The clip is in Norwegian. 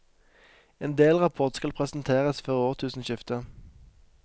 En delrapport skal presenteres før årtusenskiftet.